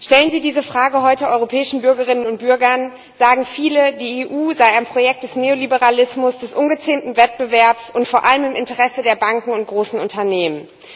Stellen Sie diese Frage heute europäischen Bürgerinnen und Bürgern, sagen viele, die EU sei ein Projekt des Neoliberalismus, des ungezähmten Wettbewerbs und vor allem im Interesse der Banken und großen Unternehmen.